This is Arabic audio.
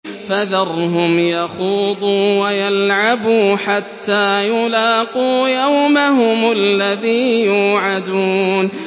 فَذَرْهُمْ يَخُوضُوا وَيَلْعَبُوا حَتَّىٰ يُلَاقُوا يَوْمَهُمُ الَّذِي يُوعَدُونَ